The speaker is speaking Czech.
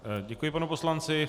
Děkuji panu poslanci.